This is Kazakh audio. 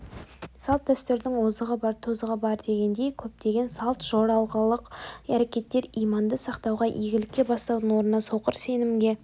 салт-дәстүрдің озығы бар тозығы бар дегендей көптеген салт-жоралғылық әрекеттер иманды сақтауға игілікке бастаудың орнына соқыр сенімге